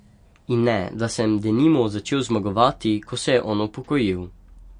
In ne, da sem denimo začel zmagovati, ko se je on upokojil.